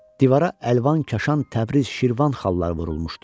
Divara əlvan kaşan, Təbriz, Şirvan xalları vurulmuşdu.